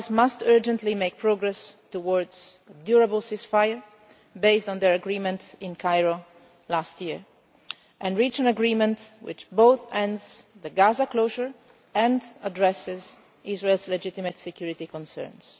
The parties must urgently make progress towards a lasting ceasefire, based on their agreements in Cairo last year, and reach an agreement which both ends the Gaza closure and addresses Israel's legitimate security concerns.